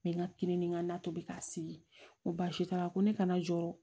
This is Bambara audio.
Mɛ n ka kirininkan tobi k'a sigi ko baasi t'a la ko ne kana jɔ